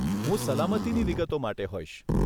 હું સલામતીની વિગતો માટે હોઈશ.